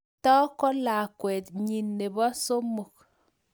Cheptoo ko lakwet nyi nebo somok